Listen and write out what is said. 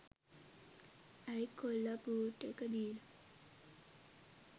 ඇයි කොල්ල බූට් එක දීල